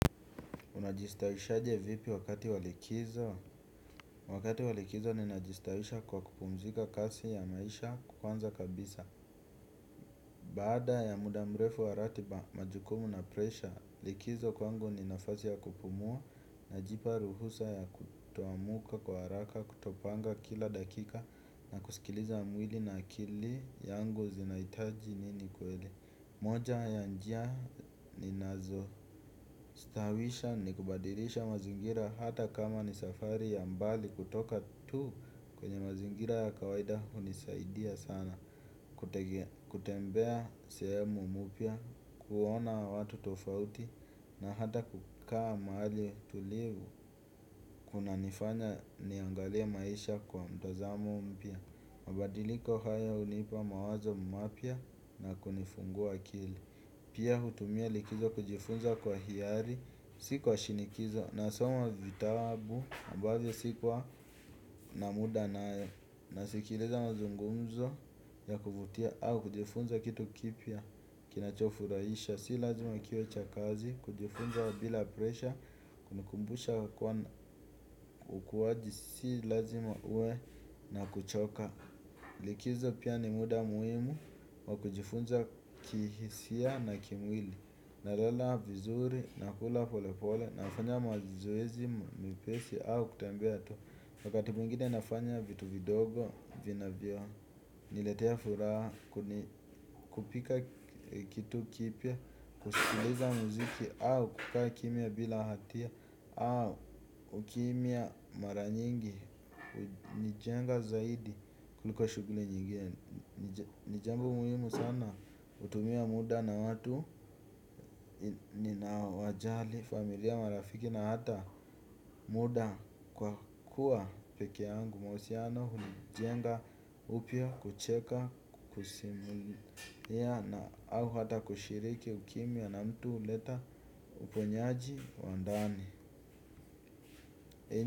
Unajistawisha je vipi wakati walikizo? Wakati walikizo ni najistawisha kwa kupumzika kasi ya maisha kwanza kabisa. Baada ya mudamrefu waratiba majukumu na presha, likizo kwangu ni nafasi ya kupumua na jipa ruhusa ya kutoamka kwa haraka kutopanga kila dakika na kuskiliza mwili na akili yangu zinahitaji nini kweli. Moja ya njia ni nazo stawisha ni kubadilisha mazingira hata kama ni safari ya mbali kutoka tu kwenye mazingira ya kawaida hunisaidia sana. Kutembea sehemu mpya, kuona watu tofauti na hata kukaa mahali tulivu kuna nifanya niangalie maisha kwa mtazamo mpya. Mabadiliko haya hunipa mawazo mapya na kunifungua akili. Pia hutumia likizo kujifunza kwa hiari. Nasikwa shinikizo. Nasoma vitabu ambavyo sikuwa na muda nayo nasikiliza mazungumzo ya kuvutia au kujifunza kitu kipya. Kina chofurahisha. Si lazima kiwecha kazi. Kujifunza bila presha kunikumbusha kuwa ukuwaji si lazima uwe na kuchoka. Likizo pia ni muda muhimu wa kujifunza kihisia na kimwili. Nalala vizuri, nakula pole pole, nafanya mazoezi, mepesi, au kutembea tu wakati mwingine nafanya vitu vidogo, vina vyo, niletea furaha, kupika kitu kipya. Kusikiliza muziki, au kukaa kimya bila hatia, au kukimya mara nyingi hunijenga zaidi, kuliko shughuli nyingine. Nijambo muhimu sana, kutumia muda na watu nina wajali familia marafiki na hata muda kwa kuwa pekee yangu mahusiano huni jenga upya kucheka kusimulia na au hata kushiriki ukimya na mtu huleta uponyaji wandani.